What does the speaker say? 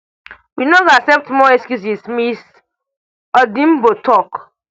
we no go accept more excuses ms odhiambo tok